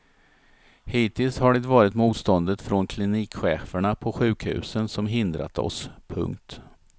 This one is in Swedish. Hittills har det varit motståndet från klinikcheferna på sjukhusen som hindrat oss. punkt